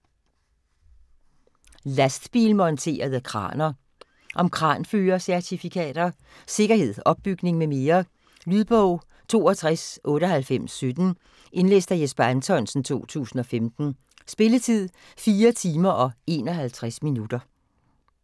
Lastbilmonterede kraner Om kranførercertifikater, sikkerhed, opbygning med mere. Lydbog 629817 Indlæst af Jesper Anthonsen, 2015. Spilletid: 4 timer, 51 minutter.